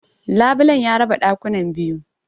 Labulen ya raba ɗakunan biyu.